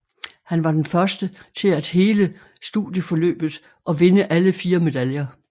Han var den første til at hele studieforløbet og vinde alle fire medaljer